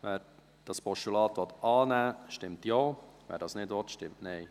Wer das Postulat annehmen will, stimmt Ja, wer dies nicht will, stimmt Nein.